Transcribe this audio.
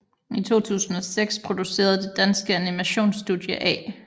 I 2006 producerede det danske animation studie A